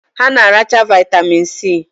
Ha na-aracha vitamin si